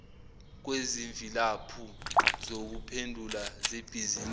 kwezimvilaphu zokuphendula zebhizinisi